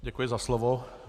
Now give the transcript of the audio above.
Děkuji za slovo.